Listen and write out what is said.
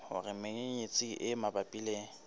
hore menyenyetsi e mabapi le